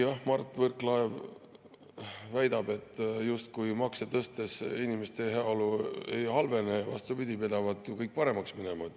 Mart Võrklaev väidab, et justkui makse tõstes inimeste heaolu ei halvene, vastupidi, pidavat ju kõik paremaks minema.